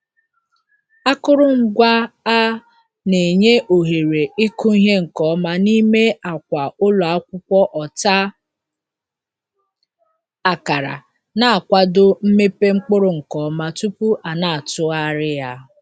Akụrụngwa a na-enye ohere ịkụ ihe nke ọma n'ime akwa ụlọ akwụkwọ ọta akara, na-akwado mmepe mkpụrụ nke ọma tupu a na-atụgharị ya.